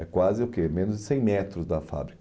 É quase o que menos de cem metros da fábrica.